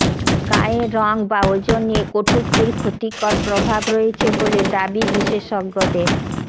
গায়ের রং বা ওজন নিয়ে কটূক্তির ক্ষতিকর প্রভাব রয়েছে বলে দাবি বিশেষজ্ঞদের